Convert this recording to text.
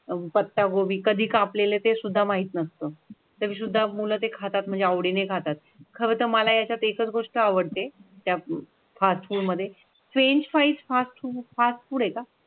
पत्तागोबी कधी कापलेले ते सुद्धा माहीत नसतं. तरीसुद्धा मुलं ते खातात म्हणजे आवडीने खातात. खरंतर मला यात एकच गोष्ट आवडते. त्या फास्ट फूड मध्ये French fries fast food fast food आहे का?